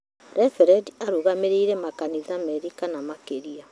Reverendi arũgamĩriire makanitha merĩ kana makĩria